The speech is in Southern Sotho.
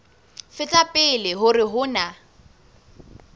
feta pele hore ho na